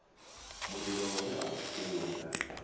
mulilo we a u funga